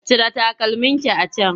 Cire takalmin ki a can!